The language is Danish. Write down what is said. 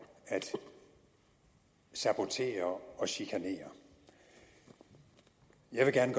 at sabotere og chikanere jeg vil gerne